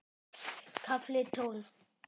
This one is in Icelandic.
KAFLI TÓLF